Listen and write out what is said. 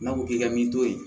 N'a ko k'i ka min to ye